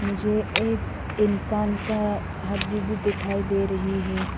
मुझे एक इंसान का हड्डी भी दिखाई दे रही है।